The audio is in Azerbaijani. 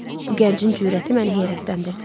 Bu gəncin cürəti məni heyrətləndirdi.